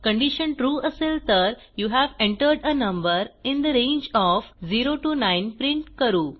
condition true असेल तर you have entered a number in the range of 0 9 print करू